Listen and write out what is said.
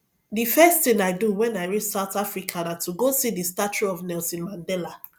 the first thing i do wen i reach south africa na to go see the statue of nelson mandela